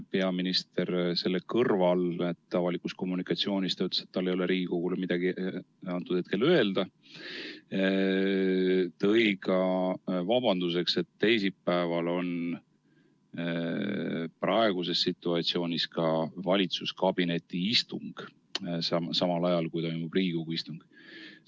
Peaminister selle kõrval, et ta avalikus kommunikatsioonis ütles, et tal ei ole Riigikogule midagi hetkel öelda, tõi ka vabanduseks, et teisipäeval on valitsuskabineti istung samal ajal, kui toimub Riigikogu istung.